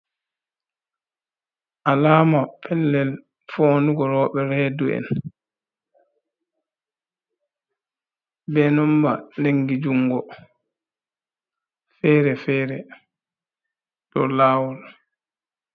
Alama pellel fondugo roɓe redu’en be nomba lingi jungo fere-fere ɗo lawol.